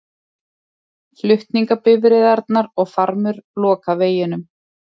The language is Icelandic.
Flutningabifreiðarnar og farmur loka veginum